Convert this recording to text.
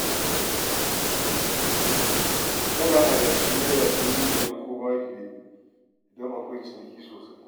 Tana adashin Naira dubu biyar ko ma fiye idan akwai ciniki sosai.